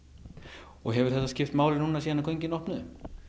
og hefur þetta skipt máli núna síðan göngin opnuðu